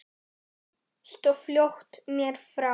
Hvað með þetta skegg þitt.